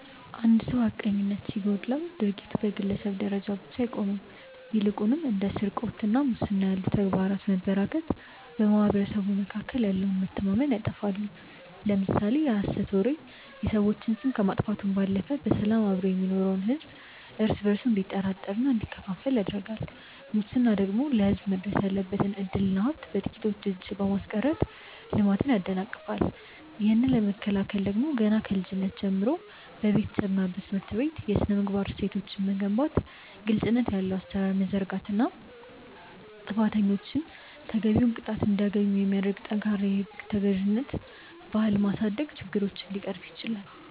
አንድ ሰው ሐቀኝነት ሲጎድለው ድርጊቱ በግለሰብ ደረጃ ብቻ አይቆምም ይልቁንም እንደ ስርቆትና ሙስና ያሉ ተግባራት መበራከት በማኅበረሰቡ መካከል ያለውን መተማመን ያጠፋሉ። ለምሳሌ የሐሰት ወሬ የሰዎችን ስም ከማጥፋቱም ባለፈ በሰላም አብሮ የሚኖረውን ሕዝብ እርስ በእርሱ እንዲጠራጠርና እንዲከፋፈል ያደርጋል ሙስና ደግሞ ለሕዝብ መድረስ ያለበትን ዕድልና ሀብት በጥቂቶች እጅ በማስቀረት ልማትን ያደናቅፋል። ይህንን ለመከላከል ደግሞ ገና ከልጅነት ጀምሮ በቤተሰብና በትምህርት ቤት የሥነ-ምግባር እሴቶችን መገንባት ግልጽነት ያለው አሠራር መዘርጋትና ጥፋተኞች ተገቢውን ቅጣት እንዲያገኙ የሚያደርግ ጠንካራ የሕግ ተገዥነት ባህል ማሳደግ ችግሮችን ሊቀርፍ ይችላል።